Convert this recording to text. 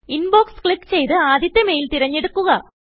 inbox click ചെയ്ത്ആദ്യത്തെ mail തെരഞ്ഞെടുക്കുക